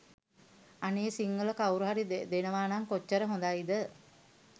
අනේ සිංහල කව්රුහරි දෙනවනම් කොච්චර හොදයිද ?